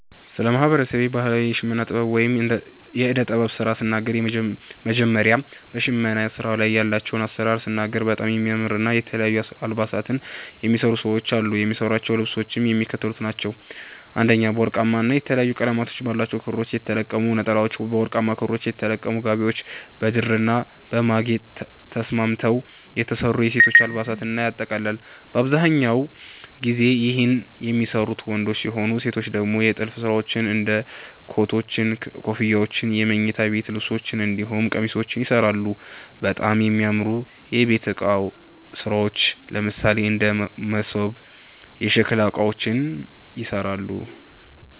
ስለ ማህበረሰቤ ባህላዊ የሽመና ጥበብ ወይም የእደ ጥበብ ስራ ስናገር መጀመሪያ በሸመና ስራዉ ላይ ያላቸዉን አሰራር ስናገር በጣም የሚያምር የተለያዩ አልባሳትን የሚሰሩ ሰዎች አሉ። የሚሰሯቸዉ ልብሶችም የሚከተሉት ናቸዉ፦ 1) በወርቃማ ና የተለያየ ቀለም ባላቸዉ ክሮች የተለቀሙ ነጠላዎች፤ 2)በወርቃማ ክሮች የተለቀሙ ጋቢዎች፤ 3)በድርና በማግ ተስማምተዉ የተሰሩ የሴቶች አልባሳትን ያጠቃልላል። በአብዛኛው ጊዜ ይህን የሚሰሩት ወንዶች ሲሆኑ ሴቶች ደግሞ የጥልፍ ስራዎች እንደ ኮቶች, ኮፍያዎች የመኝታ ቤት ልብሶች እንዲሁም ቄሚሶችንም ይሰራሉ፣ በጣም የሚያምሩ የቤት እቃ ስራዎች ለምሳሌ እንደ መሶብ፣ የሸከላ እቃዎችንም ይሰራሉ።